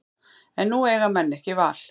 En nú eiga menn ekki val